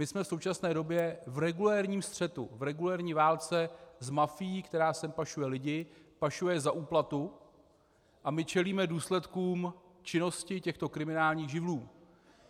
My jsme v současné době v regulérním střetu, v regulérní válce s mafií, která sem pašuje lidi, pašuje za úplatu, a my čelíme důsledkům činnosti těchto kriminálních živlů.